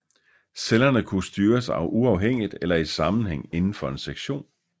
Cellerne kunne styres uafhængigt eller i sammenhæng indenfor en sektion